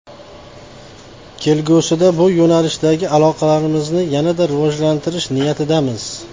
Kelgusida bu yo‘nalishdagi aloqalarimizni yanada rivojlantirish niyatidamiz.